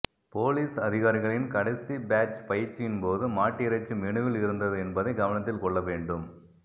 police அதிகாரிகளின் கடைசி batch பயிற்சியின் போது மாட்டிறைச்சி மெனுவில் இருந்தது என்பதை கவனத்தில் கொள்ள வேண்டும்